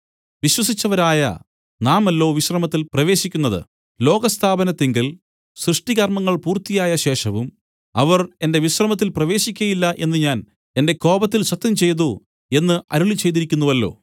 വിശ്വസിച്ചവരായ നാമല്ലോ വിശ്രമത്തിൽ പ്രവേശിക്കുന്നത് ലോകസ്ഥാപനത്തിങ്കൽ സൃഷ്ടികർമ്മങ്ങൾ പൂർത്തിയായ ശേഷവും അവർ എന്റെ വിശ്രമത്തിൽ പ്രവേശിക്കയില്ല എന്നു ഞാൻ എന്റെ കോപത്തിൽ സത്യംചെയ്തു എന്നു അരുളിച്ചെയ്തിരിക്കുന്നുവല്ലോ